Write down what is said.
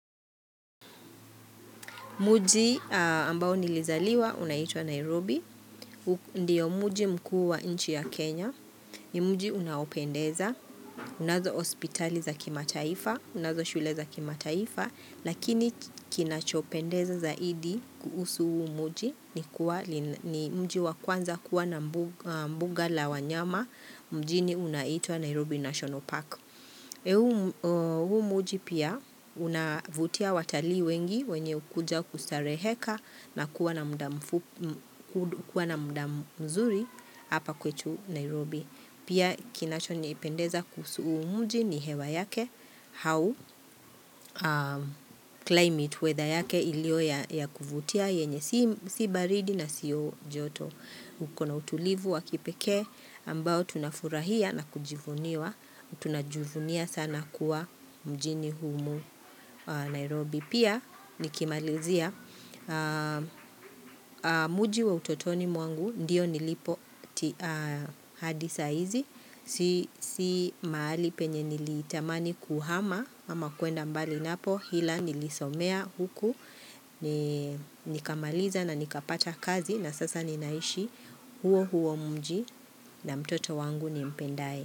Mji ambao nilizaliwa unaitwa Nairobi, ndiyo mji mkuu wa inchi ya Kenya, ni mji unaopendeza, unazo hospitalibza kimataifa, unazo shuleza kimataifa, lakini kinachopendeza zaidi kuhusu huu muji ni mji wa kwanza kuwa na mbuga la wanyama, mjini unaitwa Nairobi National Park. Huu mji pia unavutia watali wengi wenye hukuja kustareheka na kuwa na mda mzuri hapa kwetu Nairobi. Pia kinacho niipendeza kuhusu huu mji ni hewa yake au climate weather yake ilio ya kuvutia yenye si baridi na siyo joto. Ukona utulivu wa kipeke ambao tunafurahia na kujivuniwa Tunajivunia sana kuwa mjini humu Nairobi Pia nikimalizia mji wa utotoni mwangu ndiyo nilipo hadi saa izi Si mahali penye nilitamani kuhama ama kuenda mbali napo Hila nilisomea huku nikamaliza na nikapacha kazi na sasa ninaishi huo huo mji na mtoto wangu ni mpendaye.